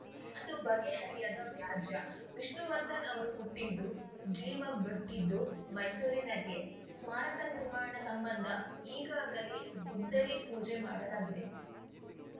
ಅದು ಬಗೆಹರಿಯದ ವ್ಯಾಜ್ಯ ವಿಷ್ಣುವರ್ಧನ್‌ ಅವರು ಹುಟ್ಟಿದ್ದು ಜೀವ ಬಿಟ್ಟಿದ್ದು ಮೈಸೂರಿನಲ್ಲಿಯೇ ಸ್ಮಾರಕ ನಿರ್ಮಾಣ ಸಂಬಂಧ ಈಗಾಗಲೇ ಗುದ್ದಲಿ ಪೂಜೆ ಮಾಡಲಾಗಿದೆ